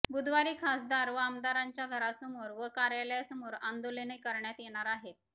बुधवारी खासदार व आमदारांच्या घरासमोर व कार्यालयासमोर आंदोलने करण्यात येणार आहेत